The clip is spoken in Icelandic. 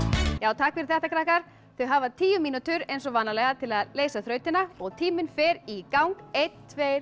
takk fyrir þetta krakkar þau hafa tíu mínútur eins og vanalega til að leysa þrautina og tíminn fer í gang einn tveir